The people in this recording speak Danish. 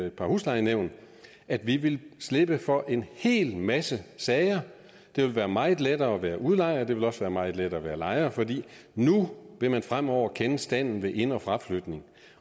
et par huslejenævn at vi vil slippe for en hel masse sager det vil være meget lettere at være udlejer og det vil også være meget lettere at være lejer for nu vil man fremover kende standen ved ind og fraflytning